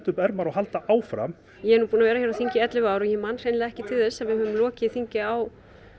upp ermar og halda áfram ég er nú búin að vera hér á þingi í ellefu ár og ég man hreinlega ekki til þess að við höfum lokið þingi á